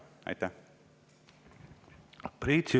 Priit Sibul, palun!